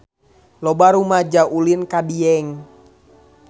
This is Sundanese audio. Loba rumaja ulin ka Dieng